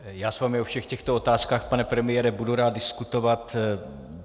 Já s vámi o všech těchto otázkách, pane premiére, budu rád diskutovat.